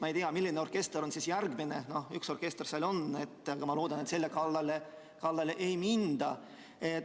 Ma ei tea, milline orkester on järgmine, üks orkester seal on, ma loodan, et selle kallale ei minda.